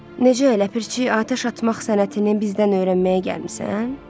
Necə ləpirçi, atəş açmaq sənətini bizdən öyrənməyə gəlmisən?